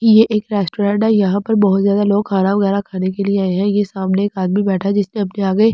ये एक रेस्टोरेंट है यहां पर बहुत ज्यादा लोग खाना वगैरा खाने के लिए आए हैं ये सामने एक आदमी बैठा है जिसने अपने आगे ।